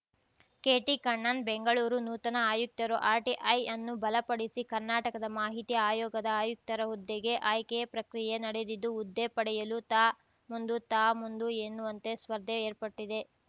ಕೆಟಿಕಣ್ಣನ್‌ ಬೆಂಗಳೂರು ನೂತನ ಆಯುಕ್ತರು ಆರ್‌ಟಿಐ ಅನ್ನು ಬಲಪಡಿಸಿ ಕರ್ನಾಟಕದ ಮಾಹಿತಿ ಆಯೋಗದ ಆಯುಕ್ತರ ಹುದ್ದೆಗೆ ಆಯ್ಕೆ ಪ್ರಕ್ರಿಯೆ ನಡೆದಿದ್ದು ಹುದ್ದೆ ಪಡೆಯಲು ತಾ ಮುಂದು ತಾ ಮುಂದು ಎನ್ನುವಂತೆ ಸ್ಪರ್ಧೆ ಏರ್ಪಟ್ಟಿದೆ